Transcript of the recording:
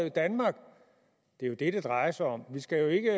i danmark det er jo det det drejer sig om vi skal jo ikke